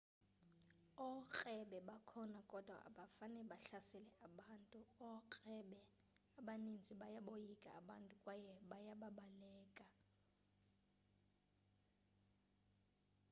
ookrebe bakhona kodwa abafane bahlasele abantu ookrebe abaninzi bayaboyika abantu kwaye bayababaleka